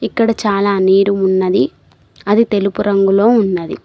ఇక్కడ చాలా నీరు ఉన్నది. అది తెలుపు రంగులో ఉన్నది.